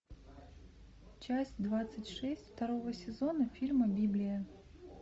часть двадцать шесть второго сезона фильма библия